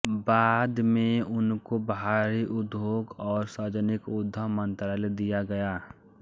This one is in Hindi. बाद में उनको भारी उद्योग और सार्वजनिक उद्यम मंत्रालय दिया गया